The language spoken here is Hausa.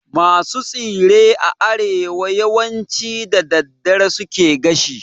Masu tsire a arewa yawanci da daddare suke gashi